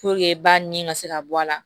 ba nin ka se ka bɔ a la